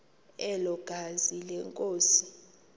elo gazi lenkosi